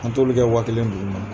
An t'olu kɛ wa kelen dugu ma